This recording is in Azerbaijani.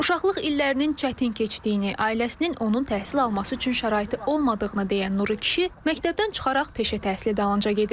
Uşaqlıq illərinin çətin keçdiyini, ailəsinin onun təhsil alması üçün şəraiti olmadığını deyən Nuru kişi məktəbdən çıxaraq peşə təhsili dalınca gedir.